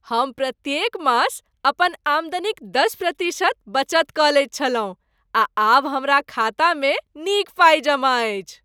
हम प्रत्येक मास अपन आमदनीक दश प्रतिशत बचत कऽ लैत छलहुँ आ आब हमर खातामे नीक पाइ जमा अछि।